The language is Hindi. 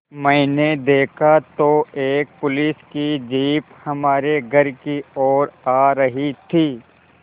मैंने देखा तो एक पुलिस की जीप हमारे घर की ओर आ रही थी